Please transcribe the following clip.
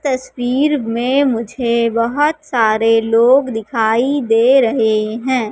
तस्वीर मे मुझे बहोत सारे लोग दिखाइ दे रहे है।